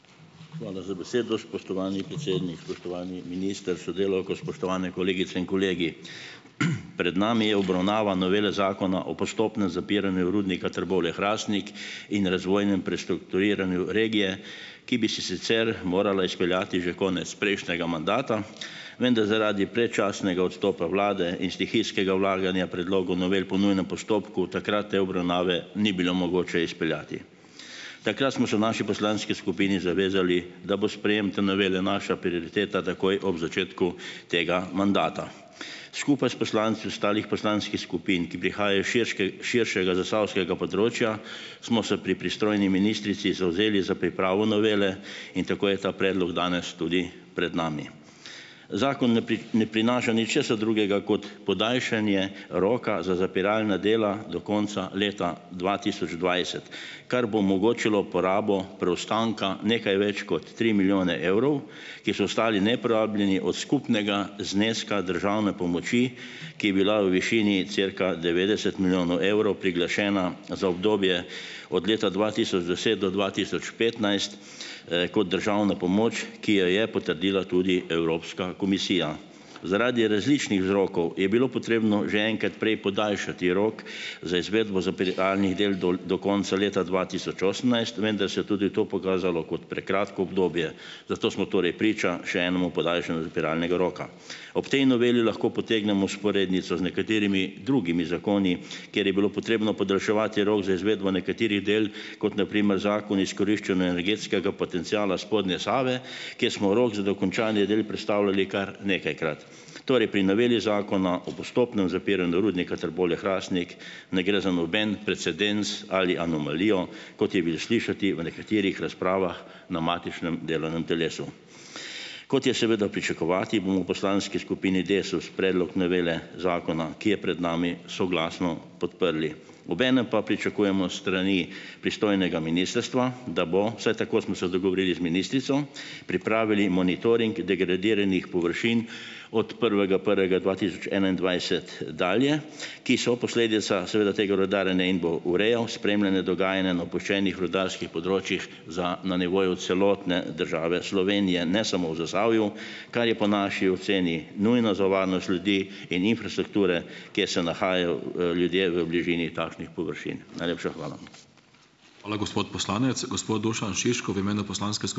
Hvala za besedo, spoštovani predsednik. Spoštovani minister s sodelavko, spoštovane kolegice in kolegi. Pred nami je obravnava novele Zakona o postopnem zapiranju Rudnika Trbovlje-Hrastnik in razvojnem prestrukturiranju regije, ki bi se sicer morala izpeljati že konec prejšnjega mandata, vendar zaradi predčasnega odstopa vlade in stihijskega vlaganja predlogov novel po nujnem postopku takrat te obravnave ni bilo mogoče izpeljati. Takrat smo se v naši poslanski skupini zavezali, da bo sprejem te novele naša prioriteta takoj ob začetku tega mandata. Skupaj s poslanci ostalih poslanskih skupin, ki prihajajo s širšega zasavskega področja, smo se pri pristojni ministrici zavzeli za pripravo novele in tako je ta predlog danes tudi pred nami. Zakon ne ne prinaša ničesar drugega kot podaljšanje roka za zapiralna dela do konca leta dva tisoč dvajset, kar bo omogočilo porabo preostanka nekaj več kot tri milijone evrov, ki so ostali neporabljeni od skupnega zneska državne pomoči, ki je bila v višini cirka devetdeset milijonov evrov priglašena za obdobje od leta dva tisoč deset do dva tisoč petnajst, kot državna pomoč, ki jo je potrdila tudi Evropska komisija. Zaradi različnih vzrokov je bilo potrebno že enkrat prej podaljšati rok za izvedbo zapiralnih del dol do konca leta dva tisoč osemnajst, vendar se je tudi to pokazalo kot prekratko obdobje, zato smo torej priča še enemu podaljšanju zapiralnega roka. Ob tej noveli lahko potegnemo vzporednico z nekaterimi drugimi zakoni, kjer je bilo potrebno podaljševati rok za izvedbo nekaterih del, kot na primer Zakon o izkoriščanju energetskega potenciala spodnje Save, kjer smo rok za dokončanje del prestavljali kar nekajkrat. Torej pri noveli Zakona o postopnem zapiranju Rudnika Trbovlje-Hrastnik ne gre za noben precedens ali anomalijo, kot je bilo slišati v nekaterih razpravah na matičnem delovnem telesu. Kot je seveda pričakovati, bomo v poslanski skupini Desus predlog novele zakona, ki je pred nami, soglasno podprli. Obenem pa pričakujemo s strani pristojnega ministrstva, da bo, vsaj tako smo se dogovorili z ministrico, pripravili monitoring degradiranih površin od prvega prvega dva tisoč enaindvajset, dalje, ki so posledica seveda tega rudarjenja in bo urejal spremljanje dogajanja na opuščenih rudarskih področjih za na nivoju celotne države Slovenije, ne samo v Zasavju, kar je po naši oceni nujno za varnost ljudi in infrastrukture, kjer se nahajajo, ljudje v bližini takšnih površin. Najlepša hvala.